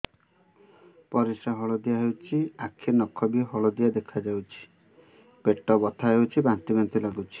ପରିସ୍ରା ହଳଦିଆ ହେଉଛି ଆଖି ନଖ ବି ହଳଦିଆ ଦେଖାଯାଉଛି ପେଟ ବଥା ହେଉଛି ବାନ୍ତି ବାନ୍ତି ଲାଗୁଛି